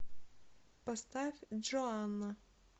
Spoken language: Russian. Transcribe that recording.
поставь джоанна